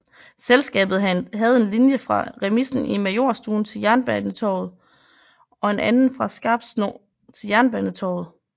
Selskabet havde en linje fra remisen i Majorstuen til Jernbanetorget og en anden fra Skarpsno til Jernbanetorget